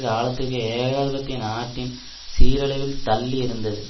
காலத்திற்கு ஏகாதிபத்திய நாட்டை சீரழிவில் தள்ளியிருந்தது